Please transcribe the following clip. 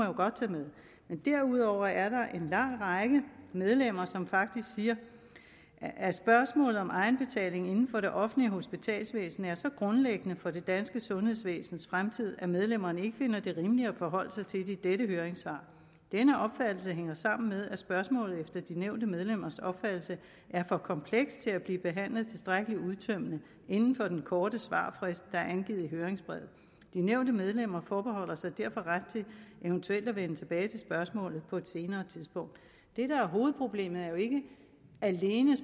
jo godt tage med derudover er der en lang række medlemmer som faktisk siger at spørgsmålet om egenbetaling inden for det offentlige hospitalsvæsen er så grundlæggende for det danske sundhedsvæsens fremtid at medlemmerne ikke finder det rimeligt at forholde sig til det i dette høringssvar denne opfattelse hænger sammen med at spørgsmålet efter de nævnte medlemmers opfattelse er for komplekst til at blive behandlet tilstrækkelig udtømmende inden for den korte svarfrist der er angivet i høringsbrevet de nævnte medlemmer forbeholder sig derfor ret til eventuelt at vende tilbage til spørgsmålet på et senere tidspunkt det der er hovedproblemet er jo ikke alene